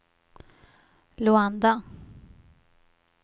Luanda